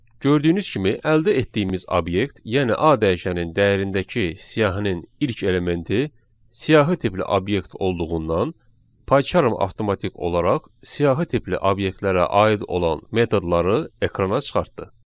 Gördüyünüz kimi əldə etdiyimiz obyekt, yəni A dəyişənin dəyərindəki siyahının ilk elementi siyahı tipli obyekt olduğundan, Paycharm avtomatik olaraq siyahı tipli obyektlərə aid olan metodları ekrana çıxartdı.